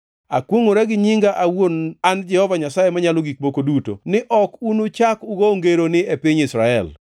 “Akwongʼora gi nyinga awuon an Jehova Nyasaye Manyalo Gik Moko Duto ni ok unuchak ugo ngeroni e piny Israel.